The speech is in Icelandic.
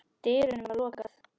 dyrunum var lokað.